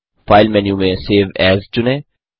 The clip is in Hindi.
फाइल मेन्यू में सेव एएस चुनें